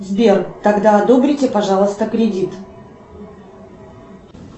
сбер тогда одобрите пожалуйста кредит